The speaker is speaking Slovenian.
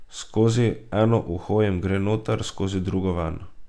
Skozi eno uho jim gre noter, skozi drugo ven.